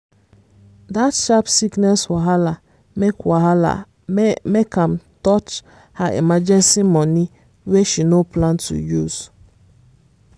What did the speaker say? dat sharp sickness wahala make wahala make am touch her emergency money wey she no plan to use.